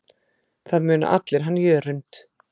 Það muna allir hann Jörund.